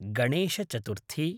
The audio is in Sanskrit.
गणेशचतुर्थी